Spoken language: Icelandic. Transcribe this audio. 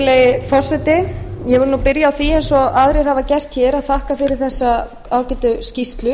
virðulegi forseti ég vil byrja á því eins og aðrir hafa gert hér að þakka fyrir þessa ágætu skýrslu